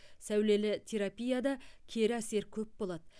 сәулелі терапияда кері әсер көп болады